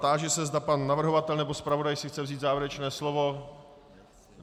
Táži se, zda pan navrhovatel nebo zpravodaj si chce vzít závěrečné slovo.